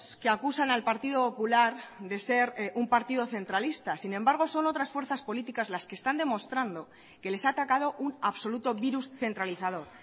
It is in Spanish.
que acusan al partido popular de ser un partido centralista sin embargo son otras fuerzas políticas las que están demostrando que les ha atacado un absoluto virus centralizador